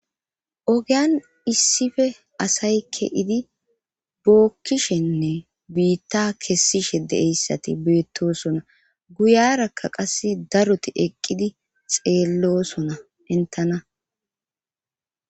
ogeyan issife asaykke idi bookkishenne biitta kessishe de7eyssati beettosona guyarakka qass daroti eqqidi xeellosona entana